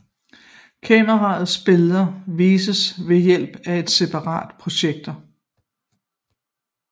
Kameraets billede vises ved hjælp af en separat projektor